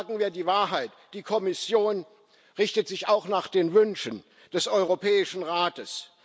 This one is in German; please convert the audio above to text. Und sagen wir die Wahrheit Die Kommission richtet sich auch nach den Wünschen des Europäischen Rates.